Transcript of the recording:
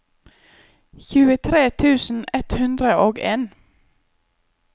tjuetre tusen ett hundre og en